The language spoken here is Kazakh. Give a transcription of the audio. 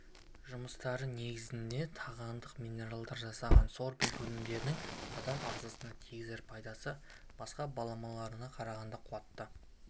жұмыстары негізінде тағандық минералдан жасалған сорбент өнімдерінің адам ағзасына тигізер пайдасы басқа баламаларына қарағанда қуатты